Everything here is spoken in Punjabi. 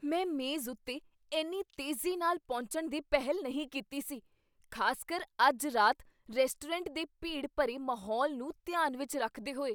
ਮੈਂ ਮੇਜ਼ ਉੱਤੇ ਇੰਨੀ ਤੇਜ਼ੀ ਨਾਲ ਪਹੁੰਚਣ ਦੀ ਪਹਿਲ ਨਹੀਂ ਕੀਤੀ ਸੀ, ਖ਼ਾਸਕਰ ਅੱਜ ਰਾਤ ਰੈਸਟੋਰੈਂਟ ਦੇ ਭੀੜ ਭਰੇ ਮਾਹੌਲ ਨੂੰ ਧਿਆਨ ਵਿੱਚ ਰੱਖਦੇ ਹੋਏ।